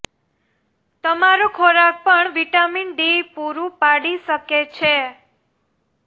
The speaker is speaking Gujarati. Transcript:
તમારો ખોરાક પણ વિટામિન ડી પૂરું પાડી શકે છે